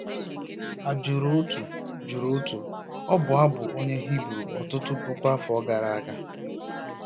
a jụrụ otu jụrụ otu ọbụ abụ bụ́ onye Hibru ọtụtụ puku afọ gara aga.